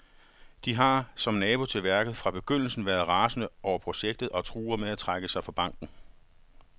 De har, som nabo til værket, fra begyndelsen været rasende over projektet og truer med at trække sig fra banken.